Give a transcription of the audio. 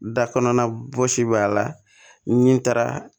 Da kɔnɔna fosi b'a la n'i taara